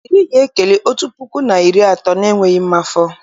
Iri ga-ekeli otu puku na iri atọ n'enweghị mmafọ